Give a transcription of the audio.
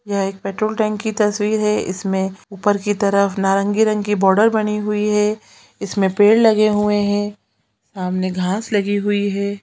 यह एक petrol tank की तस्वीर है इसमे ऊपर की तरफ नारंगी रंग की बॉर्डर बनी हुई है इसमे पेड़ लगे हुए है सामने घाँस लगी हुई हैं।